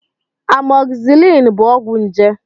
Amọgzisiliin bụ ọgwụ njé.